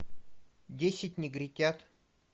десять негритят